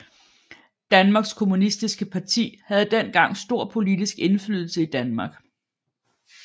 Danmarks Kommunistiske Parti havde dengang stor politisk indflydelse i Danmark